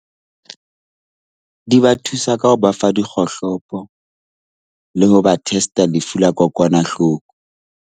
Di ba thusa ka ho ba fa dikgohlopo le ho ba test-a lefu la kokwanahloko.